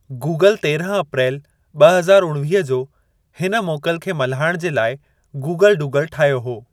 Google तेरहं अप्रैल ॿ हज़ार उणिवीह जो हिन मोकल खे मल्हाइणु जे लाइ गूगल डूडल ठाहियो हो।